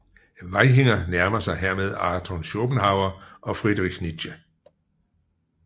Vaihinger nærmer sig hermed Arthur Schopenhauer og Friedrich Nietzsche